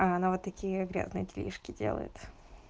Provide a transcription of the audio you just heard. она вот такие грязные делишки делает